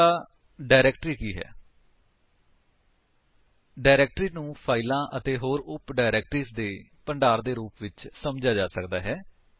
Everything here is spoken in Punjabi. ਅਗਲਾ ਡਾਇਰੇਕਟਰੀ ਕੀ ਹੈ 160 ਡਾਇਰੇਕਟਰੀ ਨੂੰ ਫਾਇਲਾਂ ਅਤੇ ਹੋਰ ਉਪ ਡਾਇਰੇਕਟਰੀਜ ਦੇ ਭੰਡਾਰ ਦੇ ਰੂਪ ਵਿੱਚ ਸੱਮਝਿਆ ਜਾ ਸਕਦਾ ਹੈ